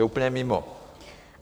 Jste úplně mimo!